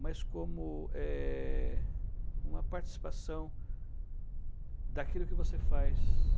mas como é uma participação daquilo que você faz.